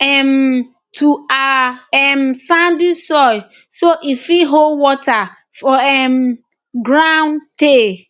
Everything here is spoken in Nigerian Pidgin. um to our um sandy soil so e fit hold water for um ground tey